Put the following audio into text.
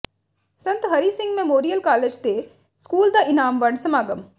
ਸੰਤ Hari Singh memorial college ਤੇ school ਦਾ ਇਨਾਮ ਵੰਡ ਸਮਾਗਮ